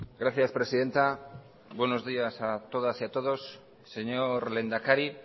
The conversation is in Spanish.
gracias presidenta buenos días a todas y a todos señor lehendakari